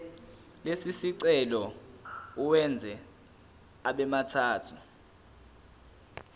lesicelo uwenze abemathathu